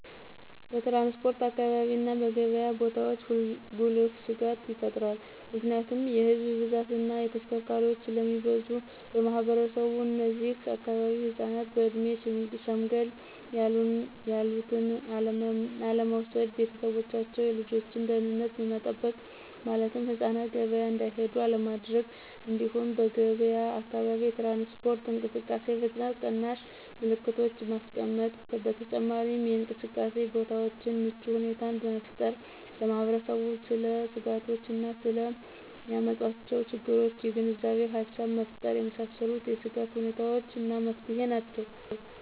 በትራንስፖርት አካባቢ እና በገብያ ቦታዎች ጉልህ ስጋት ይፈጥራል ምክንያቱም የህዝብ ብዛት እና ተሽከርካሪዎች ስለሚበዙ። ማህበረሰቡ እነዚህ አካባቢ ህፃናትን በእድሜ ሸምገል ያሉትን አለመውሰድ። ቤተሰቦቻቸው የልጆችን ደህንነት መጠበቅ ማለትም ህፃናትን ገበያ እንዲሄዱ አለማድረግ። እንዲሁም በገብያ አካባቢ የትራንስፖርት እንቅስቃሴ ፍጥነት ቀናሽ ምልክቶችን ማስቀመጥ። በተጨማሪም የእንቅስቃሴ ቦታዎችን ምቹ ሁኔታን መፍጠር። ለማህበረሰቡ ስለ ስጋቶች እና ስለ ሚያመጣው ችግሮች የግንዛቤ ሃሳብ መፍጠር የመሳሰሉት የስጋት ሁኔታዎች እና መፍትሄ ይሆናሉ።